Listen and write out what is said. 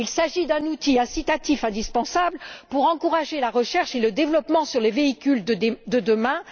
Il s'agit d'un outil incitatif indispensable pour encourager la recherche et le développement sur les véhicules de demain.